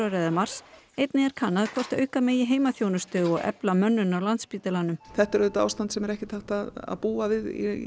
eða mars einnig er kannað hvort auka megi heimahjúkrun og efla mönnun á Landspítalanum þetta er auðvitað ástand sem ekki er hægt að búa við